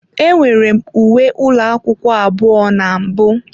Enwere m uwe ụlọ akwụkwọ abụọ na mbụ.